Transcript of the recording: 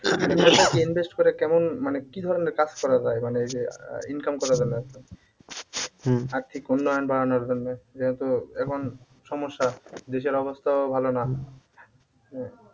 invest করে কেমন মানে কি ধরণের কাজ করা যায় মানে এই যে আহ income করা আর্থিক উন্নয়ন বাড়ানোর জন্যে যেহেতু এখন সমস্যা দেশের অবস্থাও ভালো না